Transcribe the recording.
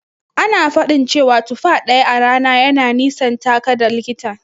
Ana faɗin cewa tufa ɗaya a rana yana nisantaka da likita.